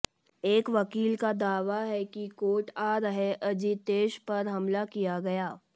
एक वकील का दावा है कि कोर्ट आ रहे अजितेश पर हमला किया गया